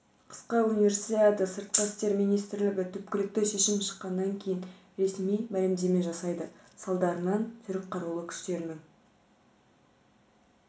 қысқы универсиада сыртқы істер министрлігі түпкілікті шешім шыққаннан кейін ресми мәлімдеме жасайды салдарынан түрік қарулы күштерінің